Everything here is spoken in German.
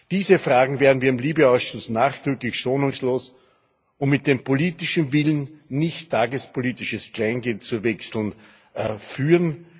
Diese Fragen werden wir im LIBE Ausschuss nachdrücklich, schonungslos und mit dem politischen Willen, nicht tagespolitisches Kleingeld zu wechseln, führen.